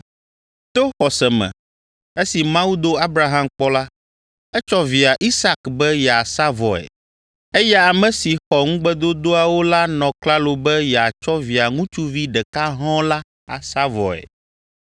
To xɔse me esi Mawu do Abraham kpɔ la, etsɔ via Isak be yeasa vɔe, eya ame si xɔ ŋugbedodoawo la nɔ klalo be yeatsɔ Via ŋutsuvi ɖeka hɔ̃ɔ la asa vɔe,